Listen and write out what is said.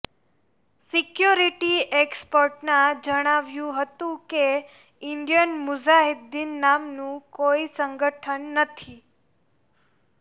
security એક્સપર્ટનાં જણાવ્યું હતું કે ઈન્ડીયન મુઝાહીદ્દીન નામનું કોઈ સંગઠન નથી